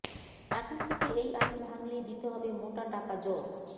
এখন থেকে এই আইন ভাঙলেই দিতে হবে মোটা টাকা জর